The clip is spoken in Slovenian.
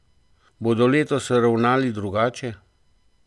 Bodo letos ravnali drugače?